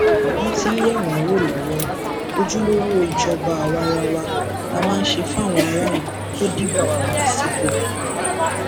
wọn ti ń yẹ wọn wò lọwọ ojúlówó ìjọba àwaarawa la máa ṣe fáwọn aráàlú tó dìbò yàn wá sípò